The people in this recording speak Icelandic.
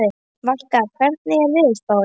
Valka, hvernig er veðurspáin?